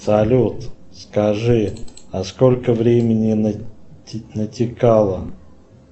салют скажи а сколько времени натикало